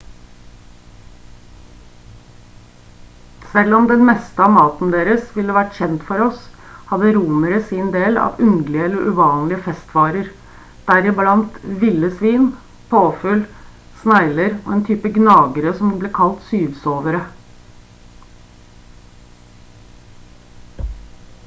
selv om den meste av maten deres ville være kjent for oss hadde romere sin del av underlige eller uvanlige festvarer deriblant ville svin påfugl snegler og en type gnagere som ble kalt syvsovere